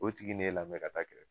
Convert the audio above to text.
O tigi n'e lamɛn ka taa kɛrɛfɛ